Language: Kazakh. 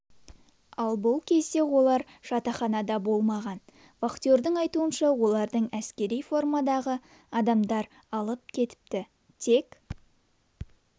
ал бұл кезде олар жатақханада болмаған вахтердің айтуынша оларды әскери формадағы адамдар алып кетіпті тек